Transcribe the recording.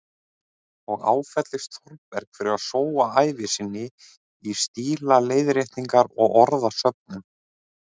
Og áfellist Þórberg fyrir að sóa ævi sinni í stílaleiðréttingar og orðasöfnun.